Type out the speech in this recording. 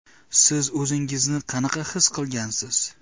Siz o‘zingizni qanaqa his qilgansiz?